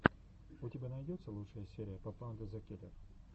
у тебя найдется лучшая серия папанда зэ киллер